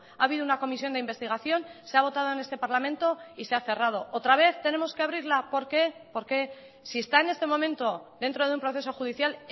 ha habido una comisión de investigación se ha votado en este parlamento y se ha cerrado otra vez tenemos que abrirla por qué por qué si está en este momento dentro de un proceso judicial